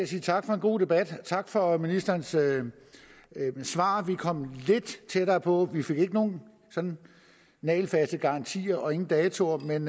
sige tak for en god debat tak for ministerens svar vi kom lidt tættere på vi fik ikke nogen nagelfaste garantier og ingen datoer men